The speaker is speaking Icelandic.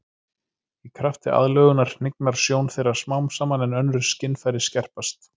Í krafti aðlögunar hnignar sjón þeirra smám saman en önnur skynfæri skerpast.